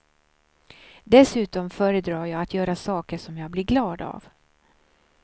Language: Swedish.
Dessutom föredrar jag att göra saker som jag blir glad av.